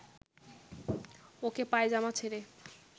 ওকে পায়জামা ছেড়ে